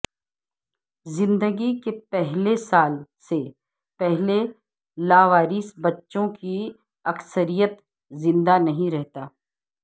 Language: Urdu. زندگی کے پہلے سال سے پہلے لاوارث بچوں کی اکثریت زندہ نہیں رہتا